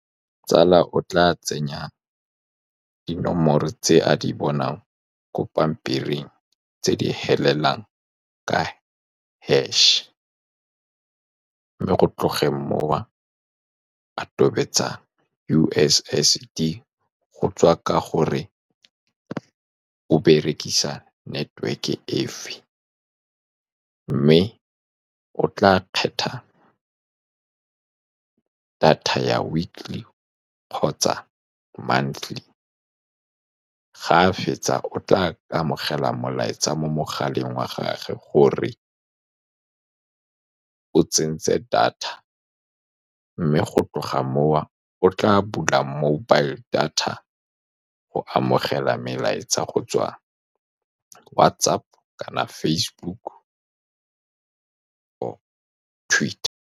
Tsala o tla tsenya dinomoro tse a di bonang ko pampiring, tse di felelang ka hash-e. Go tlogeng moo, a tobetsa U_S_S_D, go tswa ka gore o berekisa network-e efe, mme o tla khetha data ya weekly kgotsa monthly. Fa a fetsa, o tla amogela molaetsa mo mogaleng wa gagwe gore o tsentse data. Mme go tloga moo, o tla bula mobile data go amogela melaetsa go tswa WhatsApp, kana Facebook, or-e Twitter.